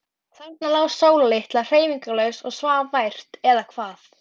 Leifur var myndarmaður í útliti, dökkur á brún og brá.